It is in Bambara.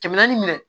Kɛmɛ naani minɛ